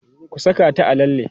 ku Saka ta a lalle!